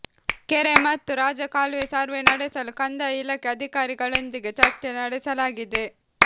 ಕೆರೆ ಮತ್ತು ರಾಜಕಾಲುವೆ ಸರ್ವೆ ನಡೆಸಲು ಕಂದಾಯ ಇಲಾಖೆ ಅಧಿಕಾರಿ ಗಳೊಂದಿಗೆ ಚರ್ಚೆ ನಡೆಸಲಾಗಿದೆ